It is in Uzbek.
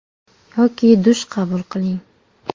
Yoki dush qabul qiling.